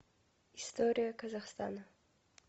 история казахстана